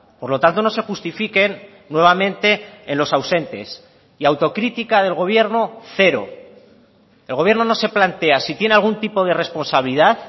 por lo tanto no se justifiquen nuevamente en los ausentes y autocritica del gobierno cero el gobierno no se plantea si tiene algún tipo de responsabilidad